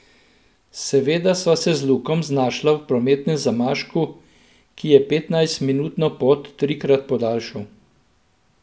Seveda sva se z Lukom znašla v prometnem zamašku, ki je petnajstminutno pot trikratno podaljšal.